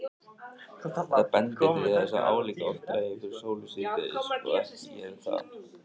Þetta bendir til þess að álíka oft dragi fyrir sólu síðdegis og ekki geri það.